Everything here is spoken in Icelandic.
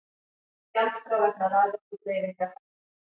Gjaldskrá vegna raforkudreifingar hækkar